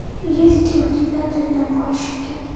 есть ли у тебя дальнобойщики